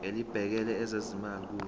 elibhekele ezezimali kusho